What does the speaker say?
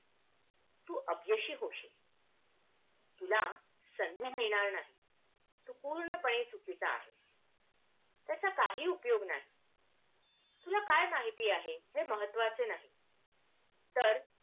तू अपयशी होशील तुला संधी मिळणार नाही तू पूर्णपणे चुकीचा आहेस त्यांचा काही उपयोग नाही तुला काय माहिती आहे हे महत्वाचे नाही तर